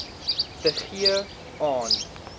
te gee aan